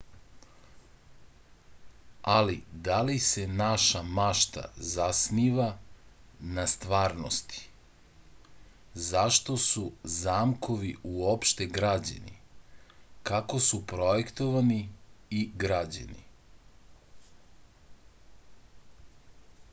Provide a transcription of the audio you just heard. ali da li se naša mašta zasniva na stvarnosti zašto su zamkovi uopšte građeni kako su projektovani i građeni